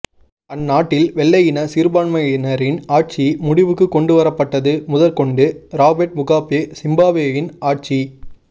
அந்நாட்டில் வெள்ளையின சிறுபான்மையினரின் ஆட்சி முடிவுக்குக் கொண்டு வரப்பட்டது முதற் கொண்டு ரொபேர்ட் முகாபே சிம்பாப்வேயின் ஆட்சி